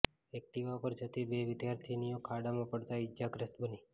Activa પર જતી બે વિદ્યાર્થિનીઓ ખાડામાં પડતા ઈજાગ્રસ્ત બની